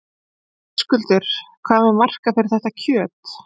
Höskuldur: Hvað með markað fyrir þetta kjöt?